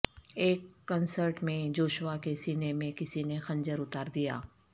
ایک کنسرٹ میں جوشوا کے سینے میں کسی نے خنجر اتار دیا